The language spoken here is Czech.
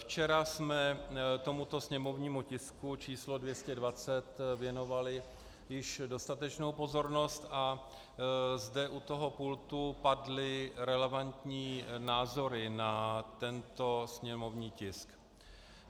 Včera jsme tomuto sněmovnímu tisku č. 220 věnovali již dostatečnou pozornost a zde u toho pultu padly relevantní názory na tento sněmovní tisk.